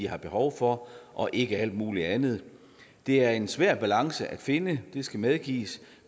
har behov for og ikke alt muligt andet det er en svær balance at finde det skal medgives